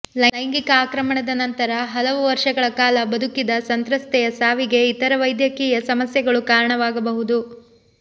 ಲೈಂಗಿಕ ಆಕ್ರಮಣದ ನಂತರ ಹಲವು ವರ್ಷಗಳ ಕಾಲ ಬದುಕಿದ ಸಂತ್ರಸ್ತೆಯ ಸಾವಿಗೆ ಇತರ ವೈದ್ಯಕೀಯ ಸಮಸ್ಯೆಗಳು ಕಾರಣವಾಗಬಹುದು